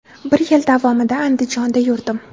Bir yil davomida Andijonda yurdim.